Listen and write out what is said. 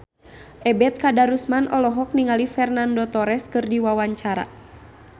Ebet Kadarusman olohok ningali Fernando Torres keur diwawancara